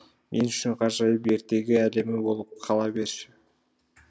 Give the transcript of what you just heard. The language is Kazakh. мен үшін ғажайып ертегі әлемі болып қала берші